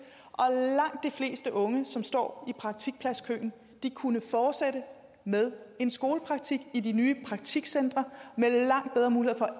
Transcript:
og fleste unge som står i praktikpladskøen vil kunne fortsætte med en skolepraktik i de nye praktikcentre med langt bedre muligheder